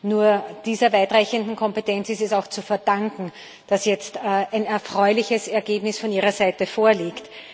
Nur dieser weitreichenden Kompetenz ist es auch zu verdanken, dass jetzt ein erfreuliches Ergebnis von ihrer Seite vorliegt.